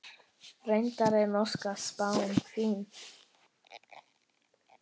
Reyndar er norska spáin fín.